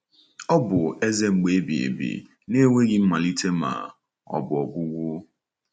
Ọ bụ Eze mgbe ebighị ebi — na e nweghị mmalite ma ọ bụ ọgwụgwụ.